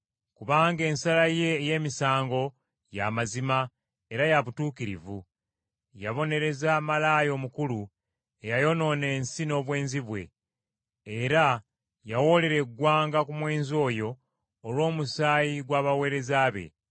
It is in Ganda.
Kubanga ensala ye ey’emisango ya mazima era ya butuukirivu. Yabonereza malaaya omukulu eyayonoona ensi n’obwenzi bwe. Era yawoolera eggwanga ku mwenzi oyo olw’omusaayi gw’abaweereza be.”